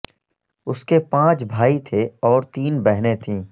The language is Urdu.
اس کے پانچ بھائی تھے اور تین بہنیں تھیں